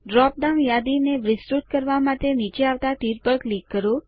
drop down યાદી ને વિસ્તૃત કરવા માટે નીચે આવતા તીર પર ક્લિક કરો